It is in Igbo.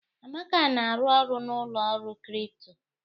Amaka na-arụ ọrụ na ụlọ ọrụ kripto.